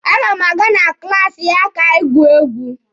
A ga m aga na klaasi ya ka anyị gwuo egwu.